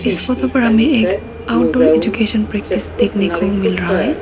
इस फोटो पर हमें एक आउटडोर एजुकेशन प्रेक्टिस देखने को मिल रहा है।